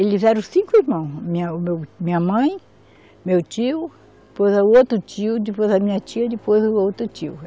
Eles eram cinco irmãos, minha o meu, minha mãe, meu tio, depois o outro tio, depois a minha tia, depois o outro tio.